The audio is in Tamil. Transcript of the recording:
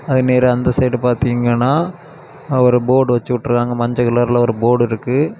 அது நேரா அந்த சைடுல பாத்தீங்கன்னா ஒரு போர்டு வெச்சுட்டுட்ருக்காங்க மஞ்ச கலர்ல ஒரு போர்டு இருக்கு.